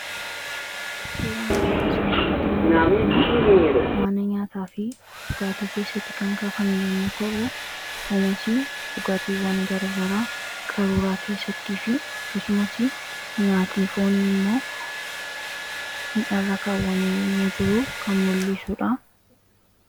Suuraan asiin gaditti mul'atu kuni mana nyaataa fi dhugaatii keessatti kan kaafamii yommuu ta'uu kanasii dhugaatiiwwan gara gara qaruuraa keessattii fi akkasumas nyaatni foonii immoo mi'arra kaawwamee yommuu jiruu kan mul'iisuudha.